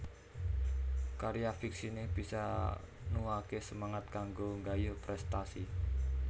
Karya fiksiné bisa nuwuhaké semangat kanggo nggayuh prèstasi